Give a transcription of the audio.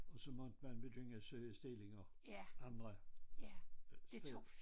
Og så måtte man begynde søge stillinger andre øh sted